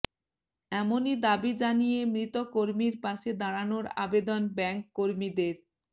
এমনই দাবি জানিয়ে মৃত কর্মীর পাশে দাঁড়ানোর আবেদন ব্যাঙ্ক কর্মীদের